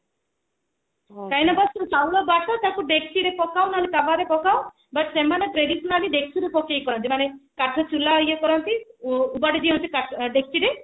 କାହିଁକି ନା ତାକୁ ଚୁଲା ବାଟ ତାକୁ ଡେକଚିରେ ପକାଅ ନହେଲେ ତାୱା ରେ ପକାଅ but ସେମାନେ traditionally ଡେକଚିରେ ପକେଇ କରନ୍ତି ମାନେ କଥା ଚୁଲା ଇଏ କରନ୍ତି ଉଗାଡି ଦିଅନ୍ତି ଡେକଚିରେ